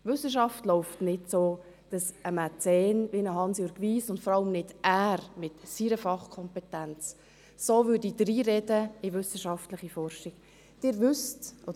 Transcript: Wissenschaft läuft nicht so, dass ein Mäzen, wie ein Hansjörg Wyss – und vor allem nicht er, mit seiner Fachkompetenz –, so in wissenschaftliche Forschung reinreden würde.